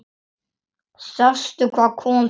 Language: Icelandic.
Sástu hvað kom fyrir?